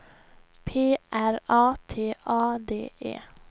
P R A T A D E